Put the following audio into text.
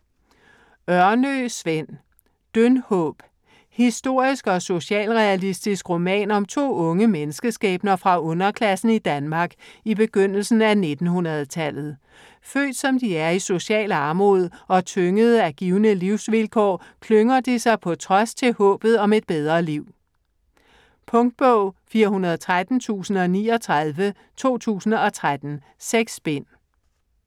Ørnø, Sven: Dyndhåb Historisk og socialrealistisk roman om to unge menneskeskæbner fra underklassen i Danmark i begyndelsen af 1900-tallet. Født som de er i social armod, og tyngede af givne livsvilkår, klynger de sig på trods til håbet om et bedre liv. Punktbog 413039 2013. 6 bind.